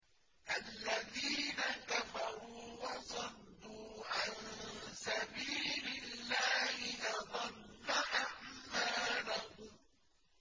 الَّذِينَ كَفَرُوا وَصَدُّوا عَن سَبِيلِ اللَّهِ أَضَلَّ أَعْمَالَهُمْ